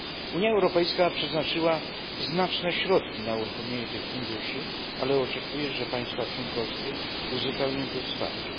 Unia Europejska przeznaczyła znaczne środki na uruchomienie tych funduszy, ale oczekuje, że państwa członkowskie uzupełnią to wsparcie.